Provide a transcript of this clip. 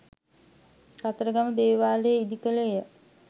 කතරගම දේවාලය ඉදි කළේය.